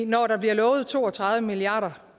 når der bliver lovet to og tredive milliard